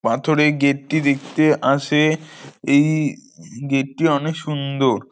পাথরে গেট -টি দেখতে আসে-এ- এই-ই-ই- উ গেট -টি অনেক সুন্দর।